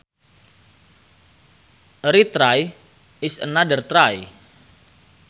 A retry is another try